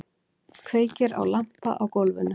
Kveikir á lampa á gólfinu.